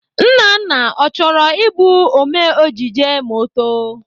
Nnanna, ọ chọrọ Ị bụ ome ejije ma ọ too?